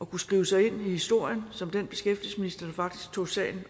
kunne skrive sig ind i historien som den beskæftigelsesminister der faktisk tog sagen